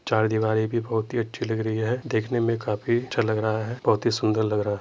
चार दीवारी भी बहुत अच्छी लग रही है। देखने में काफी अच्छा लग रहा है। बहुत ही सुन्दर लग रहा --